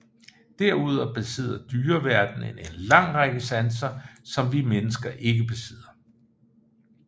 Derudover besidder dyreverdenen en lang række sanser som vi mennesker ikke besidder